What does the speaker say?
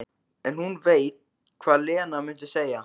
En hún veit hvað Lena mundi segja.